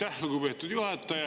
Aitäh, lugupeetud juhataja!